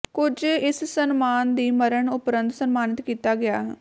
ਕੁਝ ਇਸ ਸਨਮਾਨ ਦੀ ਮਰਨ ਉਪਰੰਤ ਸਨਮਾਨਿਤ ਕੀਤਾ ਗਿਆ ਹੈ